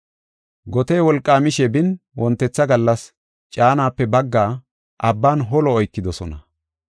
Gotey wolqaamishe bin wontetha gallas caanaape baggaa abban holo oykidosona.